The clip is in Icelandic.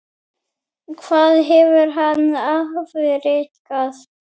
Hvað hefur hann afrekað?